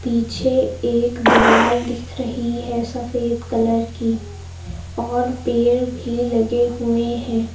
पीछे एक दीवाल दिख रही है सफेद कलर की और पेड़ भी लगे हुए हैं।